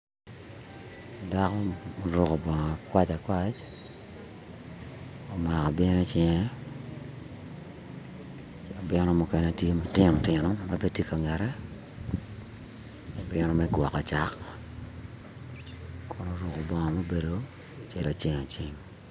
Dako oruko bongo apac apac omako abino icinge abino mukene tye matino tino ma bene tye ka ngette abino me gwoko cak Kun oruko bongo mubedo acel aceng aceng